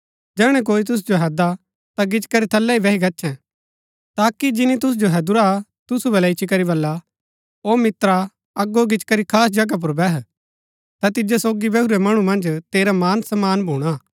जैहणै कोई तुसु जो हैददा ता गिचीकरी थलै ही बैही गच्छैं ताकि जिनी तुसु जो हैदुरा तुसु बल्लै इच्ची करी बल्ला ओ मित्रा अगो गिचीकरी खास जगहा पुर बैह ता तिजो सोगी बैहुरै मणु मन्ज तेरा मान सम्मान भूणा